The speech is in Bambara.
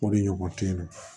O de ɲɔgɔn te yen